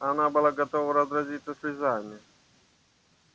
она была готова разразиться слезами